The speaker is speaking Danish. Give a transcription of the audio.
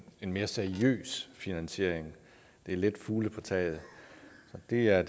en mere seriøs finansiering det er lidt fugle på taget og det er